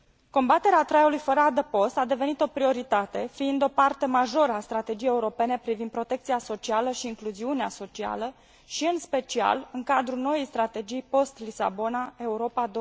Combaterea traiului fără adăpost a devenit o prioritate, fiind o parte majoră a strategiei europene privind protecția socială și incluziunea socială și, în special, în cadrul noii strategii post Lisabona, Europa